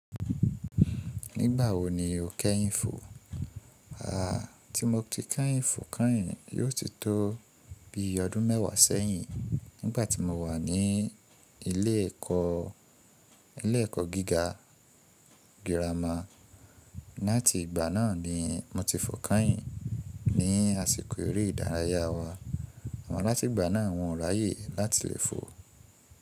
Nígbà wo ni o kẹ́yìn fò? Aah, tí mo ti kẹ́yìn fò kẹ́yìn yóò ti tó bí i ọdún mẹ́wàá sẹ́yìn nígbà tí mo wà ní ilé ẹ̀kọ́ gíga girama. Látìgbà náà ni mo ti fò kẹ́yìn ní àsìkò eré ìdárayá wa. Àmọ látìgbà náà un o ráyè láti lè fò.